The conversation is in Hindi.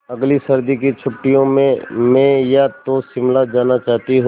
अगली सर्दी की छुट्टियों में मैं या तो शिमला जाना चाहती हूँ